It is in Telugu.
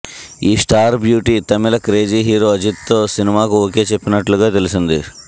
ఈ స్టార్ బ్యూటీ తమిళ క్రేజీ హీరో అజిత్తో సినిమాకు ఓకే చెప్పినట్లుగా తెలిసింది